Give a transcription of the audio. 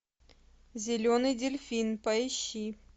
зеленый дельфин поищи